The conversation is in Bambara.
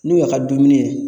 N'u y'a ka dumuni ye